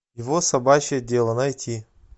его собачье дело найти